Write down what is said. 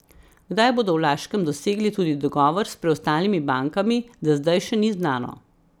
Kdaj bodo v Laškem dosegli tudi dogovor s preostalimi bankami, za zdaj še ni znano.